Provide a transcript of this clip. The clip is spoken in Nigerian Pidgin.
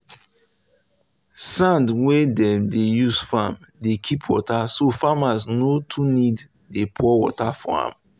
sand wey dem dey use farm dey keep water so farmers no too need dey pour water for am.